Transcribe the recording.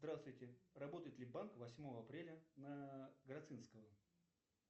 здравствуйте работает ли банк восьмого апреля на грацинского